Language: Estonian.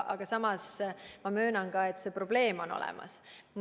Aga samas ma möönan ka, et see probleem on olemas.